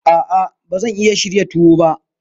A'a, ba zan iya shirya tuwo ba.